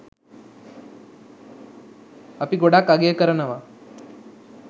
අපි ගොඩක් අගය කරනව.